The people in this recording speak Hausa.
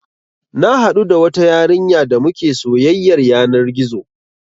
Na haɗu da wata yarinya damuke soyyar yanar gizo